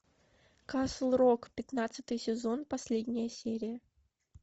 касл рок пятнадцатый сезон последняя серия